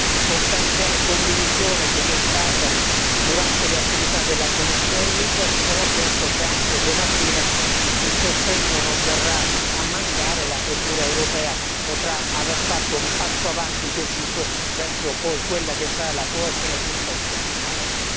continuo ovviamente a incoraggiare i colleghi, ricordando una sostanziale condivisione che vi è stata durante le attività della commissione LIBE e sono certo che anche domattina il sostegno non verrà a mancare e la procura europea potrà aver fatto un passo avanti deciso verso poi quella che sarà l'approvazione di un testo finale.